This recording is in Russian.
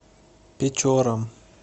печорам